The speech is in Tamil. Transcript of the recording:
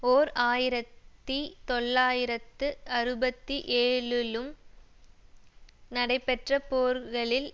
ஓர் ஆயிரத்தி தொள்ளாயிரத்து அறுபத்தி ஏழுலும் நடைபெற்ற போர்களில்